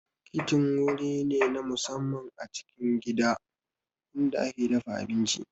Kicin wuri ne na musamman a cikin gida inda ake dafa abinci